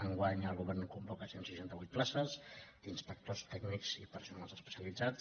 enguany el govern convoca cent i seixanta vuit places d’inspectors tècnics i personal especialitzat